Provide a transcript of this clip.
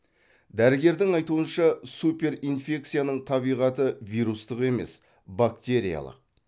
дәрігердің айтуынша суперинфекцияның табиғаты вирустық емес бактериялық